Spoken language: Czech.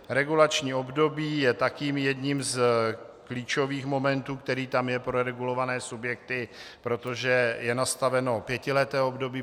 Regulační období je také jedním z klíčových momentů, který tam je pro regulované subjekty, protože je nastaveno pětileté období.